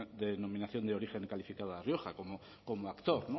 de denominación de origen calificado de la rioja como actor